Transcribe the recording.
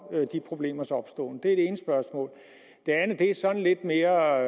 de problemers opståen det ene spørgsmål det andet er sådan lidt mere